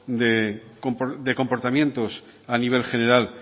de comportamientos a nivel general